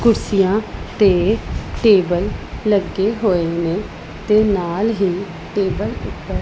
ਕੁਰਸੀਆਂ ਤੇ ਟੇਬਲ ਲੱਗੇ ਹੋਏ ਨੇ ਤੇ ਨਾਲ ਹੀ ਟੇਬਲ ਉੱਪਰ --